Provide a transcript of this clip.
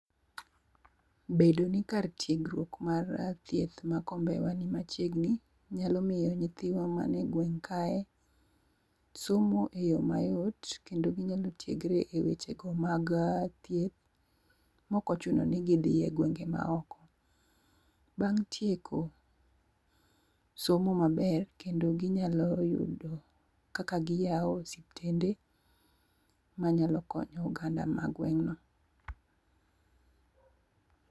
Bedo ni kar tiegruok mar thieth ma Kombewa ni machiegni, nyalo miyo nythiwa man e gweng' kae somo eyo mayot kendo ginyalo tiegre ewechego mag thieth maok ochuno ni gidhi e gwenge maoko. Bang' tieko somo maber to ginyalo yudo kaka giyawo osiptende manyalo konyo oganda ma gweng' no.